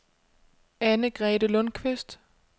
Anne-Grethe Lundqvist